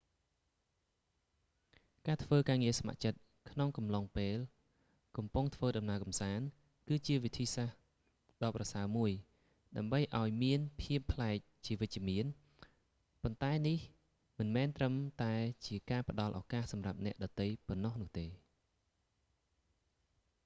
ការធ្វើការងារស្ម័គ្រចិត្តក្នុងកំឡុងពេលកំពុងធ្វើដំណើរកំសាន្ត គឺជាវិធីដ៏ប្រសើរមួយ ដើម្បីធ្វើឱ្យមានភាពប្លែកជាវិជ្ជមាន ប៉ុន្តែនេះមិនមែនត្រឹមតែជាការផ្តល់ឱ្យសម្រាប់អ្នកដទៃប៉ុណ្ណោះនោះទេ